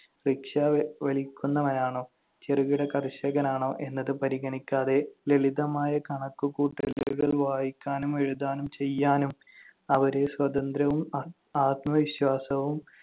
rickshaw വലിക്കുന്നവനാണോ ചെറുകിട കർഷകനാണോ എന്നത് പരിഗണിക്കാതെ ലളിതമായ കണക്കുകൂട്ടലുകൾ വായിക്കാനും എഴുതാനും ചെയ്യാനും അവരെ സ്വതന്ത്രവും ആത്~ ആത്മവിശ്വാസവും